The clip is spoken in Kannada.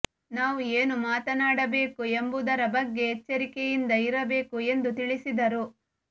ನಾವು ಏನು ಮಾತನಾಡಬೇಕು ಎಂಬುದರ ಬಗ್ಗೆ ಎಚ್ಚರಿಕೆಯಿಂದ ಇರಬೇಕು ಎಂದು ತಿಳಿಸಿದರು